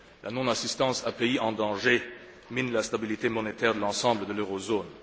La non assistance à pays en danger mine la stabilité monétaire de l'ensemble de l'eurozone.